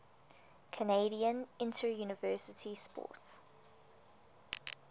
canadian interuniversity sport